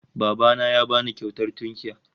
Baba na ya ba ni kyautar tunkiya